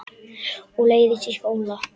Og leiðist í skóla.